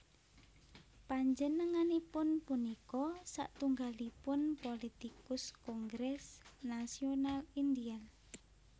Panjenenganipun punika satunggalipun pulitikus Kongres Nasional Indial